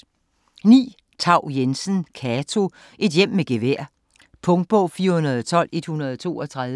Thau-Jensen, Cato: Et hjem med gevær Punktbog 412132